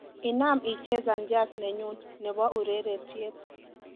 inam ichezan jazz nenyun nebo ureretyet